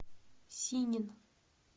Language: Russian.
синин